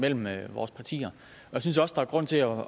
mellem vores partier og jeg synes også der er grund til at